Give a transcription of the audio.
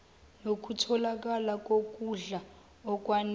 nokutholakala kokudla okwanele